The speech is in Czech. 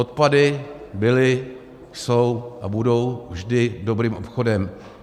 Odpady byly, jsou a budou vždy dobrým obchodem.